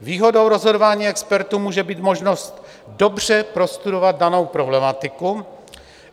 Výhodou rozhodování expertů může být možnost dobře prostudovat danou problematiku.